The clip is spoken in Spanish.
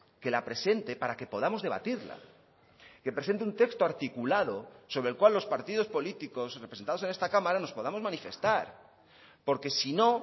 que la presente para que podamos debatirla que presente un texto articulado sobre el cual los partidos políticos representados en esta cámara nos podamos manifestar porque si no